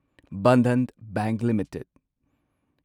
Bandhan bank limited